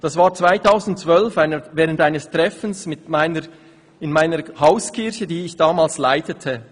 ‹Das war 2012, während eines Treffens in meiner Hauskirche, die ich damals leitete.